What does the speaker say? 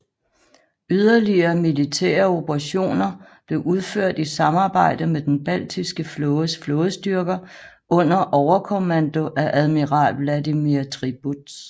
Yderligere militære operationer blev udført i samarbejde med den Baltiske Flådes flådestyrker under overkommando af admiral Vladimir Tribuz